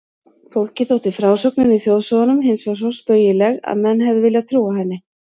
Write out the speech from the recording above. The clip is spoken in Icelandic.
Fólki þótti frásögnin í þjóðsögunum hinsvegar svo spaugileg að menn hafa viljað trúa henni.